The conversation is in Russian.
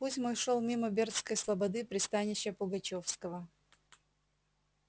путь мой шёл мимо бердской слободы пристанища пугачёвского